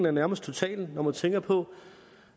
og nærmest total når man tænker på